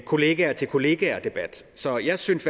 kollega til kollega så jeg synes